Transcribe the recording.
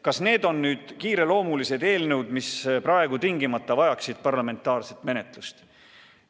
Kas need on kiireloomulised eelnõud, mida praegu tingimata tuleb parlamendis menetleda?